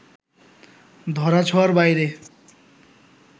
ধরা-ছোঁয়ার বাইরে